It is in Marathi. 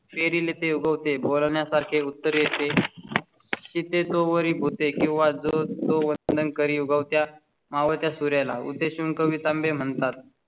पेरिलें तें उगवतें बोलण्या सारखे उत्तर येते. तिथे तो बरी होते किंवा जो तो वर्तन कर युगात या मावळ त्या सूर्या ला उद्देशून कविता म्हणतात.